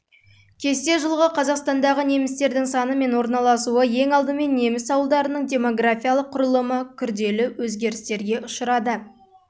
кесте жылғы қазақстандағы немістердің саны мен орналасуы ең алдымен неміс ауылдарының демографиялық құрылымы күрделі өзгерістерге ұшырады